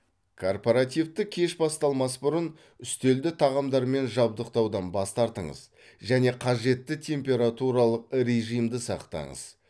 корпоративтік кеш басталмас бұрын үстелді тағамдармен жабдықтаудан бас тартыңыз және қажетті температуралық режимді сақтаңыз